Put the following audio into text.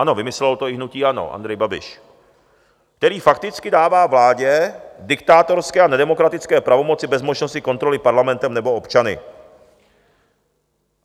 Ano, vymyslelo to i hnutí ANO, Andrej Babiš, který fakticky dává vládě diktátorské a nedemokratické pravomoci bez možnosti kontroly Parlamentem nebo občany.